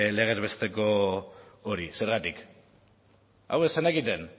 legez besteko hori zergatik hau ez zenekiten